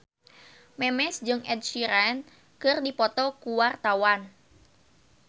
Memes jeung Ed Sheeran keur dipoto ku wartawan